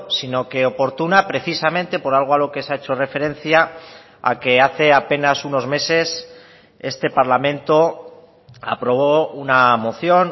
sino que oportuna precisamente por algo a lo que se ha hecho referencia a que hace apenas unos meses este parlamento aprobó una moción